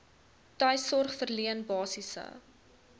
tuissorg verleen basiese